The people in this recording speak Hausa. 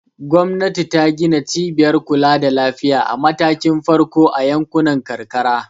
Gwamnati ta gina cibiyar kula da lafiya a matakin farko a yankunan karkara.